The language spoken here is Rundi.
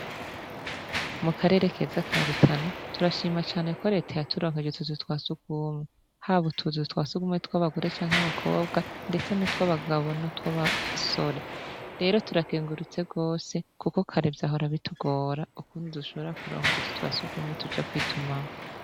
Mu karere keza ka Rutana turashima cane ko leta yaturonkanye utu nzu twa sugumwe haba utu nzu twasugumwe tw’abagore canke abakobwa ndetse utw’abagabo n’utw’abasore rero turakengurutse gose kuko kare vyahora bitugora kukuntu dushobora kuronka utu nzu twasugumwe tuja kwitumamwo.